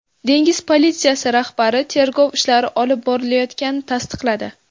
Dengiz politsiyasi rahbari tergov ishlari olib borilayotganini tasdiqladi.